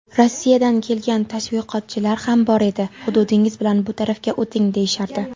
Rossiyadan kelgan tashviqotchilar ham bor edi: "Hududingiz bilan bu tarafga o‘ting", deyishardi.